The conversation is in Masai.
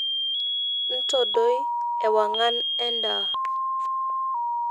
intodoi ewang'an endaa